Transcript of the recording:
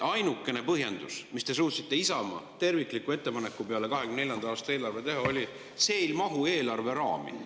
Ainukene põhjendus, mis te suutsite Isamaa tervikliku, 2024. aasta eelarve kohta tehtud ettepaneku peale teha, oli, et see ei mahu eelarve raami.